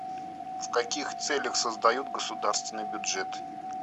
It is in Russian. в каких целях создают государственный бюджет